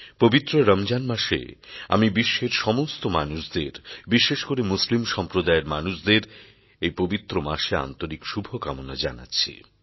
পবিত্র রমজান মাসে আমি বিশ্বের সমস্ত মানুষদের বিশেষ করে মুসলিম সম্প্রদায়ের মানুষদের এই পবিত্র মাসে আন্তরিক শুভকামনা জানাচ্ছি